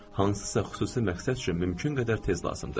Hansısa xüsusi məqsəd üçün mümkün qədər tez lazımdır.